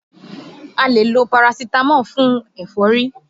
A lè lo Parasitamọ́ọ̀ fún ẹ̀fọ́rí